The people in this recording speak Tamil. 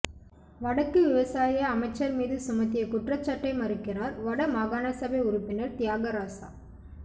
வடக்கு விவசாய அமைச்சர் மீது சுமத்திய குற்றச்சாட்டை மறுக்கிறார் வட மாகாணசபை உறுப்பினர் தியாகராசா